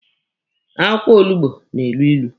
Akwụkwọ olugbo na-elu ilu.